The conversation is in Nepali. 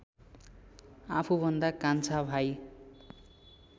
आफूभन्दा कान्छा भाइ